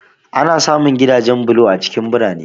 Ana samun gidajen bulo a cikin birane.